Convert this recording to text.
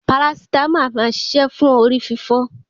Parasítámọ̀ a máa ṣiṣẹ́ fún orí fífọ́.